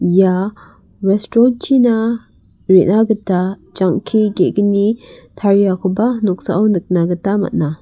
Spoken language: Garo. ia restaurant -china re·na gita jangki ge·gni tariakoba noksao nikna gita man·a.